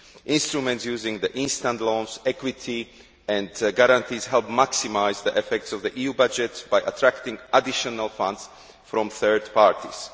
Instruments using instant loans, equity and guarantees help maximise the effects of the EU budget by attracting additional funds from third parties.